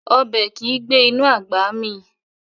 Ọbẹ̀ kìí gbé inú àgbà mì